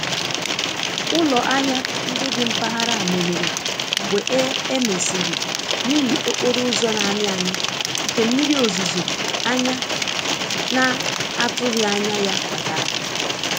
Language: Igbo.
Ụlọ ahịa ndị dị mpaghara meghere mgbe e emesiri 'ihi okporo ụzọ na amị-amị nke mmiri ozuzo anya na atughi anya ya kpatara